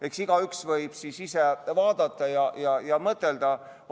Eks igaüks võib ise vaadata ja mõtelda.